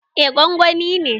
Eh, gwangwani ne